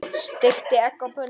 Steikti egg á pönnu.